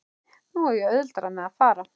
Nú á ég auðveldara með að fara.